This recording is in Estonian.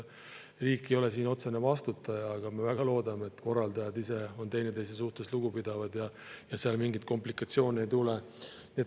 Riik ei ole siin otsene vastutaja, aga me väga loodame, et korraldajad ise on teineteise suhtes lugupidavad ja seal mingeid komplikatsioone ei tule.